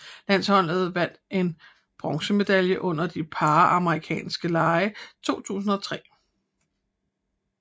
Landsholdet vandt en bronzemedalje under de Panamerikanske lege 2003